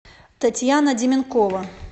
татьяна деменкова